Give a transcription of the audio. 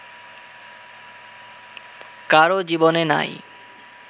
কারো জীবনে নাই